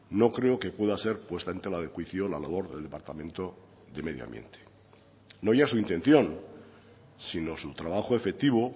no creo que pueda ser puesta en tela de juicio la labor del departamento de medio ambiente no ya su intención sino su trabajo efectivo